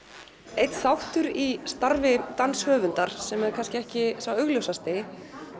einn þáttur í starfi danshöfundar sem er kannski ekki sá augljósasti